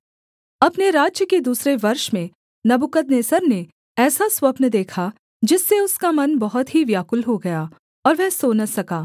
अपने राज्य के दूसरे वर्ष में नबूकदनेस्सर ने ऐसा स्वप्न देखा जिससे उसका मन बहुत ही व्याकुल हो गया और वह सो न सका